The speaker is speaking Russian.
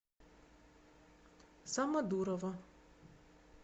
самодурова